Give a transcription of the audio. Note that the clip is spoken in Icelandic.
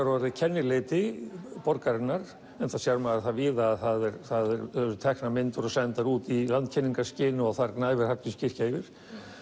orðið kennileiti borgarinnar enda sér maður það víða að það eru teknar myndir og sendar út í landkynningarskyni og þar gnæfir Hallgrímskirkja yfir